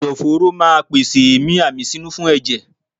Ẹ̀dọ̀ fóró ma pèsè èémí àmísínú fún ẹ̀jẹ̀.